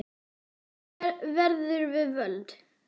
Gleðin verður við völd.